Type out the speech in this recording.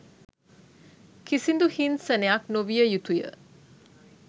කිසිදු හිංසනයක් නොවිය යුතුයි